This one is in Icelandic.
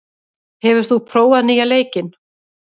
, hefur þú prófað nýja leikinn?